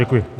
Děkuji.